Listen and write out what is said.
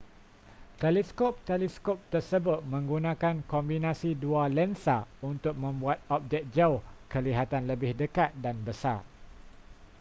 teleskop-teleskop tersebut menggunakan kombinasi dua lensa untuk membuat objek jauh kelihatan lebih dekat dan besar